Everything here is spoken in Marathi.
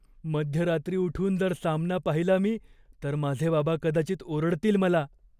मध्यरात्री उठून जर सामना पाहिला मी तर माझे बाबा कदाचित ओरडतील मला.